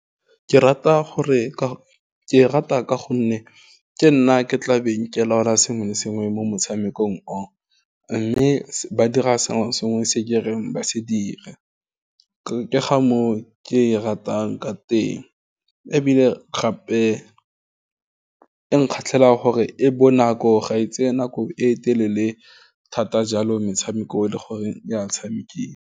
Ke e rata ka gonne ke nna ke tlabeng ke laola sengwe le sengwe mo motshamekong o, mme ba dira sengwe le sengwe se ke reng ba se dira, ke ga mo ke e ratang ka teng, ebile gape e nkgatlhele ka gore e bonako ga e tseye nako e telele thata jalo metshameko le gore ya tshamekiwa.